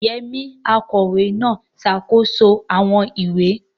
Yemi, akọ̀wé náà, ń ṣàkóso àwọn ìwé.